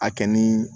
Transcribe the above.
A kɛ ni